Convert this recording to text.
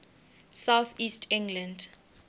south east england